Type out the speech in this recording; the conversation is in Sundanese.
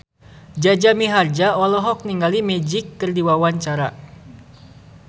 Jaja Mihardja olohok ningali Magic keur diwawancara